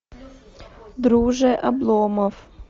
друже обломов